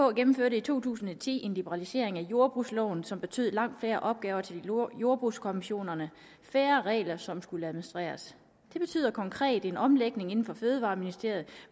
gennemførte i to tusind og ti en liberalisering af jordbrugsloven som betød langt færre opgaver til jordbrugskommissionerne og færre regler som skulle administreres det betyder konkret en omlægning inden for fødevareministeriets